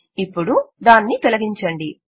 ఇప్పుడు దానిని తొలగించండి